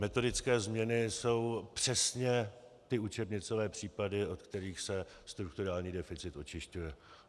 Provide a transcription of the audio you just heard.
Metodické změny jsou přesně ty učebnicové případy, od kterých se strukturální deficit očišťuje.